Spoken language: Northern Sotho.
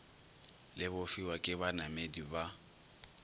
le bofiwa ke banamedi ba